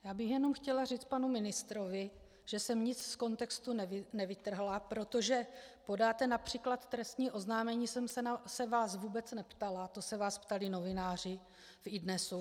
Já bych jenom chtěla říct panu ministrovi, že jsem nic z kontextu nevytrhla, protože podáte například trestní oznámení jsem se vás vůbec neptala, to se vás ptali novináři v iDNES.